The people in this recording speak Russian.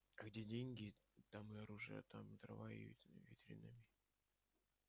а где деньги там и оружие там и дрова и витамины